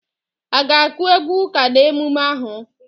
A ga-akụ egwu ụka n'emume ahụ?